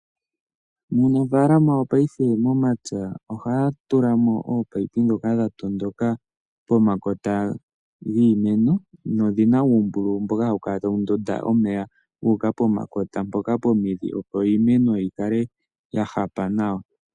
Uunafalama wopaife momapya ohaya tula mo oopayipi ndhoka dha tondoka pomakota giimeno nodhi na uumbululu mboka hawu kala tawu ndonda omeya guuka pomakota mpoka pomidhi, opo iimeno yi kale ya hapa nawa.